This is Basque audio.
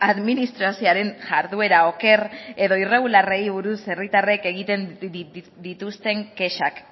administrazioaren jarduera oker edo irregularrei buruz herritarrek egiten dituzten kexak